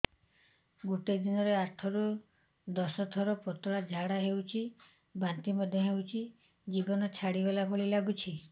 ଗୋଟେ ଦିନରେ ଆଠ ରୁ ଦଶ ଥର ପତଳା ଝାଡା ହେଉଛି ବାନ୍ତି ମଧ୍ୟ ହେଉଛି ଜୀବନ ଛାଡିଗଲା ଭଳି ଲଗୁଛି